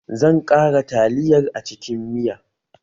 Zan ƙara taliyar a cikin miya